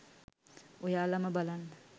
ඔයාලම බලන්න